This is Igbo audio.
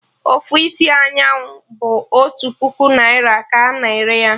Ofu isi anyụ bụ otu puku naira ka a na-ere ya